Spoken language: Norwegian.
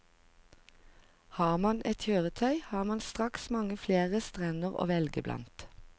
Har man et kjøretøy, har man straks mange flere strender å velge blant.